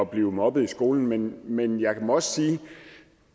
blive mobbet i skolen men men jeg må også sige